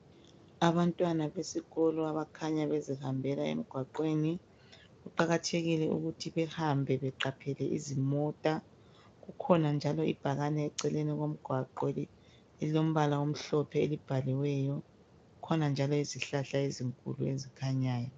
Abantwana besikolo abakhanya bezihambela emgwaqweni kuqakathekile ukuthi behambe beqaphele izimota. Kukhona njalo ibhakane eceleni komgwaqo elilombala omhlophe elibhaliweyo kukhona njalo izihlahla ezinkulu ezikhanyayo.